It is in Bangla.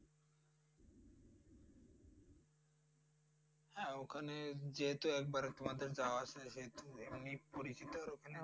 হ্যাঁ ওখানে যেহেতু একবারে তোমাদের যাওয়া আছে সেহেতু মানে পরিচিতর ওখানে